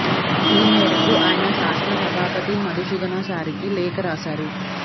ఈ మేరకు ఆయన శాసన సభాపతి మధుసూదనా చారికి లేఖ రాశారు